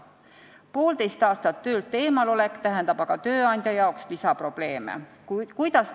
Poolteist aastat töölt eemalolek tähendab aga tööandja jaoks lisaprobleeme.